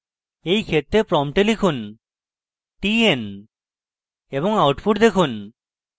এই ক্ষেত্রে prompt লিখুন tn এবং output দেখুন